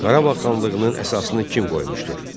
Qarabağ xanlığının əsasını kim qoymuşdur?